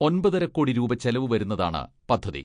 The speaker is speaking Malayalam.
ഒൻപതര കോടി രൂപ ചിലവ് വരുന്നതാണ് പദ്ധതി.